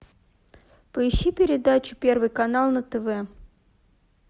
поищи передачу первый канал на тв